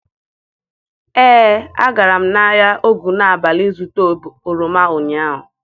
Ee, agara m ahịa Ogunabali ịzụta oroma ụnyaahụ.